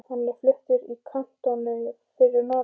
Hann var fluttur í kantónu fyrir norðan.